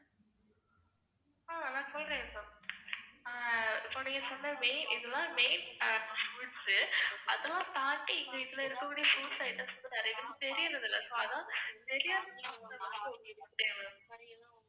so நீங்க சொன்ன main இதெல்லாம் main fruits சு அதெல்லாம் தாண்டி இதுல இருக்கக்கூடிய fruits items வந்து நிறைய பேருக்கு தெரியறது இல்ல. so அதான் தெரியாத ma'am